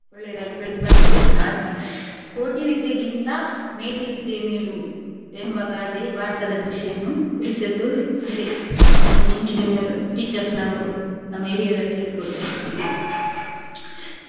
ಒಳ್ಳೇದಾಗಿ ಬೇಳೆದು ಬಂದಿದೆ ಅ~ ಕೋಟಿ ವಿದ್ಯೆಗಿಂತಾ ಮೇಟಿ ವಿದ್ಯೆ ಮೇಲು ಎಂಬ ಗಾದೆ ಭಾರತದ ಕೃಷಿಯನ್ನು ಕುರಿತದ್ದು ಇದೇ ನಮ್ಮ ಮುಂಚಿನಿಂದಲೂ teachers ನವರು ನಮ್ಮ ಹೀರಿಯರೆಲ್ಲ ಹೇಳಿ ಕೊಟ್ಟದ್ದು .